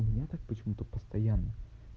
у меня так почему-то постоянно